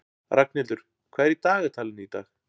Ragnhildur, hvað er í dagatalinu í dag?